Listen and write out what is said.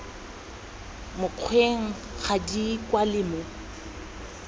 mokgweng ga di kwalwe mo